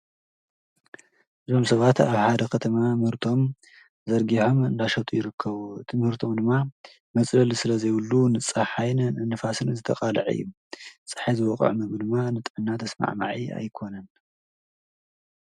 ዞም ሰባት ኣብ ሓደ ኸተማ ምህርቶም ዘርጊሖም እንዳሻጡ ይርከዉት ምህርቶም ድማ መጽለል ስለ ዘይብሉ ንጻሕሕይንን እንፋስን ዝተቓልዕ እዩ ፀሒ ዝወቓዕ ምብ ድማ ንጠና ተስማዕማዒ ኣይኮነን።